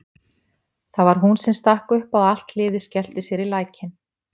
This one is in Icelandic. Það var hún sem stakk upp á að allt liðið skellti sér í lækinn.